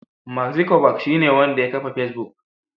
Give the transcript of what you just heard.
Mark zukerberg shine wanda ya kafa fesbuk.